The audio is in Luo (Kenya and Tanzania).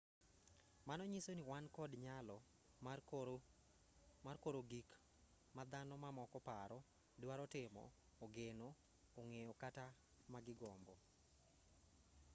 mano nyiso ni wan kod nyalo mar koro gik ma dhano mamoko paro drwaro timo ogeno ong'eyo kata ma gigombo